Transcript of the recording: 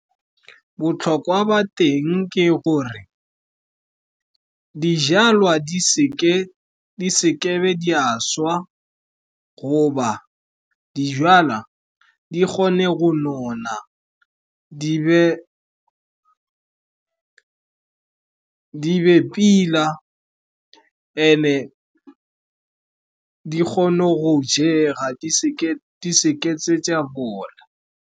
Botlhokwa ba teng ke gore dijalwa di seke di a swa, goba dijalwa di kgone go nona, di be pila, and-e kgone go jega, di seke tse bola.